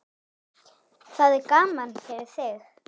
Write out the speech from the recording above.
Það er gaman fyrir þig.